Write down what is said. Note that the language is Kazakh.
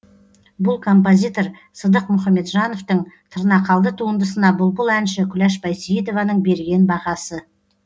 бұл композитор сыдық мұхамеджановтың тырнақалды туындысына бұлбұл әнші күләш байсейітованың берген бағасы